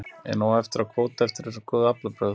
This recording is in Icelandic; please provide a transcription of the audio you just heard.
Er nóg eftir af kvóta eftir þessi góðu aflabrögð?